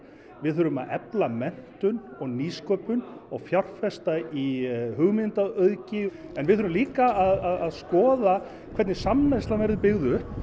við þurfum að efla menntun nýsköpun og fjárfesta í hugmyndaauðgi en við þurfum líka að skoða hvernig samneyslan verður byggð upp